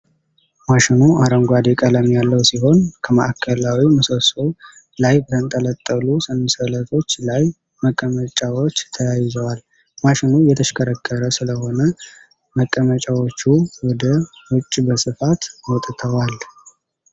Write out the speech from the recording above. ማሽኑ አረንጓዴ ቀለም ያለው ሲሆን፣ ከማዕከላዊ ምሰሶው ላይ በተንጠለጠሉ ሰንሰለቶች ላይ መቀመጫዎች ተያይዘዋል። ማሽኑ እየተሽከረከረ ስለሆነ መቀመጫዎቹ ወደ ውጭ በስፋት ወጥተዋል።